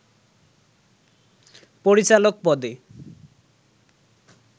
পরিচালক পদে